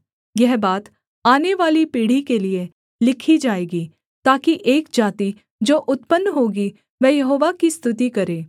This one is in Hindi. यह बात आनेवाली पीढ़ी के लिये लिखी जाएगी ताकि एक जाति जो उत्पन्न होगी वह यहोवा की स्तुति करे